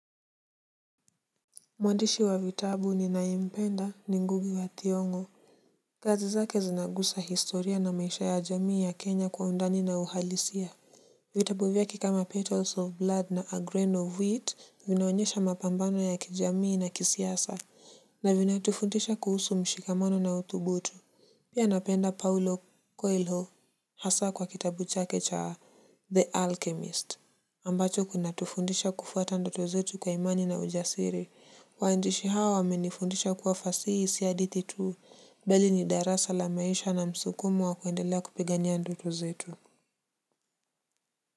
Mwandishi wa vitabu ninayompenda ni ngugi wa thiongo kazi zake zinagusa historia na maisha ya jamii ya kenya kwa undani na uhalisia. Vitabu vyake kama petals of blood na a grain of wheat vinaonyesha mapambano ya kijamii na kisiasa. Na vinatufundisha kuhusu mshikamano na utubutu. Pia napenda paulo cuelho hasa kwa kitabu chake cha the alchemist ambacho kuna tufundisha kufuata ndoto zetu kwa imani na ujasiri. Waandishi hawa wamenifundisha kuwa fasihi si hadithi tu mbali ni darasa la maisha na msukumo wa kuendelea kupigania ndoto zetu.